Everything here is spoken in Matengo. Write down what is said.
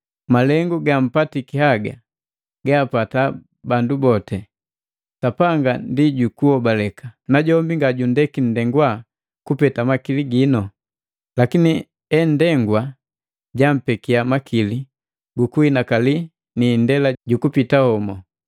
Milengu gampatiki haga gaapata bandu boti. Sapanga ndi jukuhobaleka, najombi ngajundeki nndengwa kupeta makili ginu. Lakini endengwa jampekiya makili gukuhinakali ni indela jukupita homu.